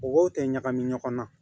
Mɔgɔw tɛ ɲagami ɲɔgɔn na